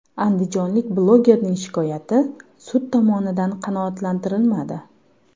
Andijonlik blogerning shikoyati sud tomonidan qanoatlantirilmadi.